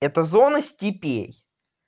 это зона степей